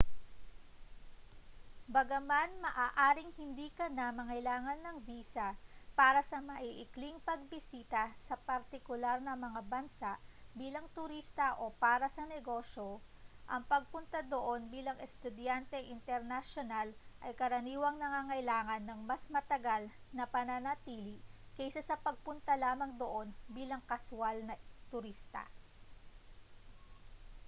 bagaman maaring hindi ka na mangailangan ng visa para sa maiikling pagbisita sa partikular na mga bansa bilang turista o para sa negosyo ang pagpunta doon bilang estudyanteng internasyonal ay karaniwang nangangailangan ng mas matagal na pananatili kaysa sa pagpunta lamang doon bilang kaswal na turista